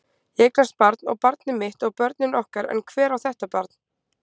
Ég eignast barn og barnið mitt og börnin okkar en hver á þetta barn?